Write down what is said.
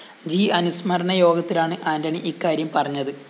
G അനുസ്മരണ യോഗത്തിലാണ് ആന്റണി ഇക്കാര്യം പറഞ്ഞത്